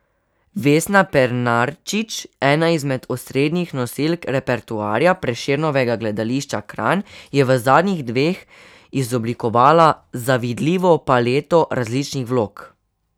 Vesna Pernarčič, ena izmed osrednjih nosilk repertoarja Prešernovega gledališča Kranj, je v zadnjih dveh izoblikovala zavidljivo paleto različnih vlog.